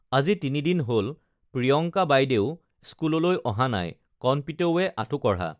আজি তিনি দিন হল প্ৰিয়ংকা বাইদেউ স্কুললৈ অহা নাই কণপিতৌৱে আঁঠু কঢ়া